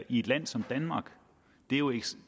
i et land som danmark